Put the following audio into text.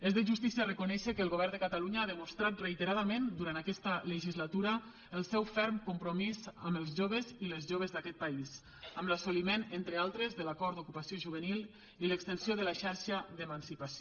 és de justícia reconèixer que el govern de catalunya ha demostrat reiteradament durant aquesta legislatura el seu ferm compromís amb els joves i les joves d’aquest país amb l’assoliment entre d’altres de l’acord d’ocupació juvenil i l’extensió de la xarxa d’emancipació